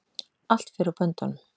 Allt fer úr böndunum